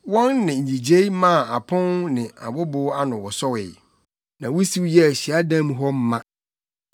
Wɔn nne nnyigyei maa apon ne abobow ano wosowee, na wusiw yɛɛ hyiadan mu hɔ ma.